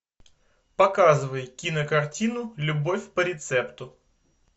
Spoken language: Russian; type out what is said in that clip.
показывай кинокартину любовь по рецепту